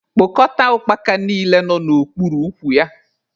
Kpokọta ukpaka niile nọ n'okpuru ukwu ya!